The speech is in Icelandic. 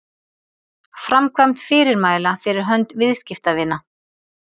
framkvæmd fyrirmæla fyrir hönd viðskiptavina